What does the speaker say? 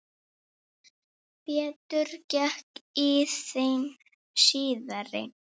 Betur gekk í þeim síðari.